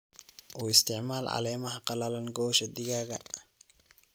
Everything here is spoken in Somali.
U isticmaal caleemaha qallalan gogosha digaagga.